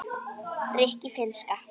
rikki- finnska